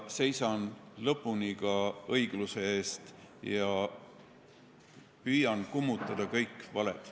Seisan lõpuni ka õigluse eest ja püüan kummutada kõik valed.